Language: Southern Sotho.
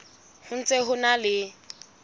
ho ntse ho na le